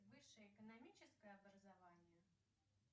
высшее экономическое образование